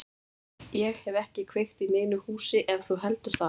Ég hef ekki kveikt í neinu húsi ef þú heldur það.